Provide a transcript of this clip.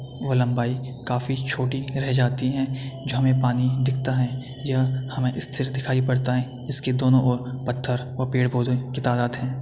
वो लंबाई काफ़ी छोटी रह जाती हैं जो हमें पानी दिखता है। यह हमें स्थिर दिखाई पड़ता है इसके दोनों ओर पत्थर व पेड़-पौधे की तादात है।